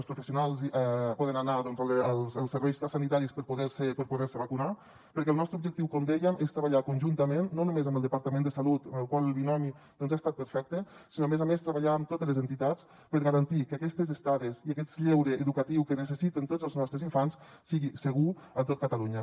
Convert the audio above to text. els professionals poden anar als serveis sanitaris per poder se vacunar perquè el nostre objectiu com dèiem és treballar conjuntament no només amb el departament de salut amb el qual el binomi doncs ha estat perfecte sinó a més a més treballar amb totes les entitats per garantir que aquestes estades i aquest lleure educatiu que necessiten tots els nostres infants sigui segur a tot catalunya